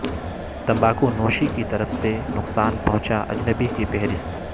تمباکو نوشی کی طرف سے نقصان پہنچا اجنبی کی فہرست